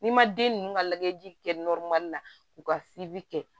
N'i ma den ninnu ka lajɛji kɛ la u ka kɛ